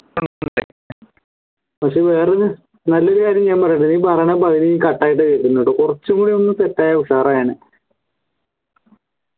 പക്ഷേ വേറൊരു നല്ലൊരു കാര്യം ഞാൻ പറയട്ടെ നീ പറയണ പകുതിയും cut ആയിട്ട കേക്കുന്നുണ്ട് കുറച്ചുകൂടി ഒന്ന് തെറ്റായ ഉഷാറായേനെ